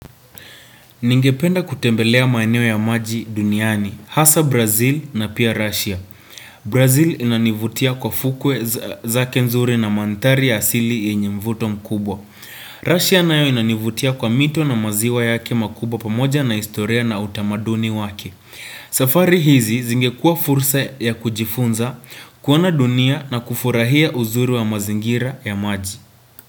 Ningependa kutembelea maeneo ya maji duniani, hasa Brazil na pia Russia. Brazil inanivutia kwa fukwe zake nzuri na mandhari ya asili yenye mvuto mkubwa. Russia nayo inanivutia kwa mito na maziwa yake makubwa pamoja na historia na utamaduni wake. Safari hizi zingekua fursa ya kujifunza kuona dunia na kufurahia uzuri wa mazingira ya maji.